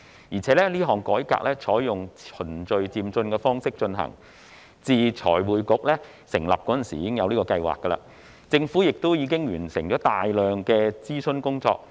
而且，這項改革採用循序漸進的方式進行，自財匯局成立時，已有相關的計劃，政府亦已完成大量的諮詢工作。